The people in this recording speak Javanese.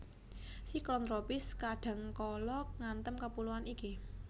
Siklon tropis kadhangkala ngantem kapuloan iki